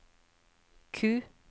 Q